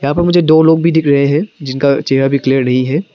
और मुझे दो लोग भी दिख रहे हैं जिनका चेहरा भी क्लियर नहीं है।